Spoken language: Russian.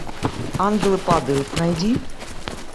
ангелы падают найди